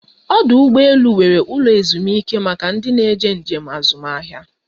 Ọdụ ụgbọ elu nwere ụlọ ezumike maka ndị njem azụmahịa